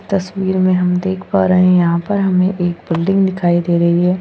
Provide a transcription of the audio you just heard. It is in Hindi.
तस्वीर में हम देख पा रहे हैं यहाँ पर हमें एक बिल्डिंग दिखाई दे रही है।